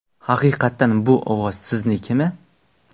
Haqiqatan bu ovoz siznikimi?